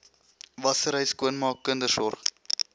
wassery skoonmaak kindersorg